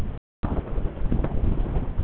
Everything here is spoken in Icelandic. Vilt þú verða formælandi þess hóps?